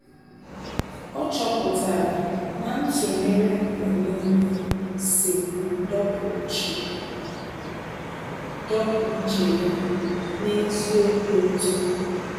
Ọ́ chọ́pụ̀tárà na ntụnyere mgbe nìile sì dọ́pụ́ úchè dọ́pụ́ úchè ya n’ézí obi ụtọ.